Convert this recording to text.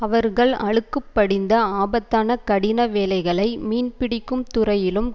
அவர்கள் அழுக்குப் படிந்த ஆபத்தான கடின வேலைகளை மீன்பிடிக்கும் துறையிலும்